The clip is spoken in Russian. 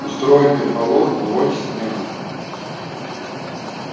устроит переполох на уроке снегга